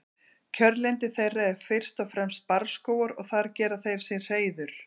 Kjörlendi þeirra eru fyrst og fremst barrskógar og þar gera þeir sér hreiður.